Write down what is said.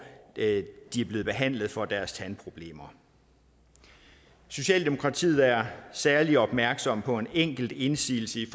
de er blevet behandlet for deres tandproblemer socialdemokratiet er særlig opmærksom på en enkelt indsigelse i